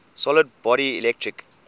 solid body electric